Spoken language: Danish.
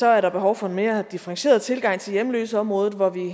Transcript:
er der behov for en mere differentieret tilgang til hjemløseområdet hvor vi